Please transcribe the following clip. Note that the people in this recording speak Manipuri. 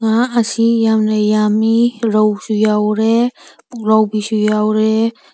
ꯉꯥ ꯑꯁꯤ ꯌꯝꯅ ꯌꯝꯃꯤ ꯔꯧꯁꯨ ꯌꯥꯎꯔꯦ ꯄꯨꯛꯂꯥꯎꯕꯤꯁꯨ ꯌꯥꯎꯔꯦ ꯫